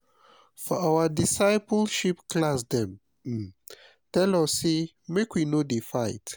for our discipleship class dem um tell us sey make we no dey fight.